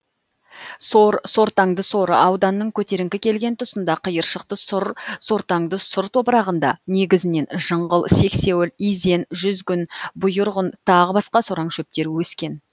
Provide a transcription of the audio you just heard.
сор сортаңды сор ауданның көтеріңкі келген тұсында қиыршықты сұр сортаңды сұр топырағында негізінен жыңғыл сексеуіл изен жүзгін бұйырғын тағы басқа сораң шөптер өскен